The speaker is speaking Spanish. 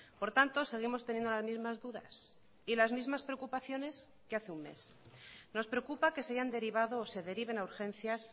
por tanto seguimos teniendo las mismas dudas y las mismas preocupaciones que hace un mes nos preocupa que se hayan derivado o se deriven a urgencias